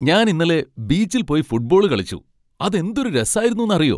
ഞാൻ ഇന്നലെ ബീച്ചിൽ പോയി ഫുട്ബോൾ കളിച്ചു. അത് എന്തൊരു രസായിരുന്നൂന്ന് അറിയോ .